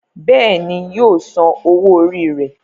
Béèni yíò sàn owó Orí rẹ.